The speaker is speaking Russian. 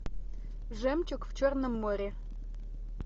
жемчуг в черном море